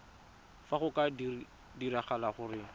fa go ka diragala gore